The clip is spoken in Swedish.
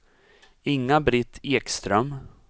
Inga-Britt Ekström